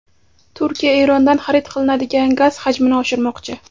Turkiya Erondan xarid qilinadigan gaz hajmini oshirmoqchi.